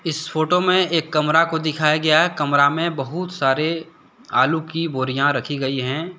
इस फोटो मे एक कमरा को दिखाया गया है कमरा में बहुत सारे आलू की बोरियां रखी गई हैं ।